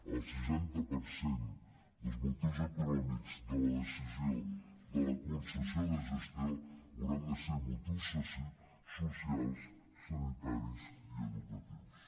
el seixanta per cent dels motius de la decisió de la concessió de gestió hauran de ser motius socials sanitaris i educatius